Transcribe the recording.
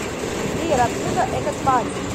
сбер откуда этот парень